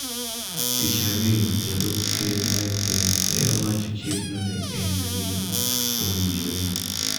Tich ariyo jalup ker Mike Pence ne owacho chikno ne en gino mowinjore.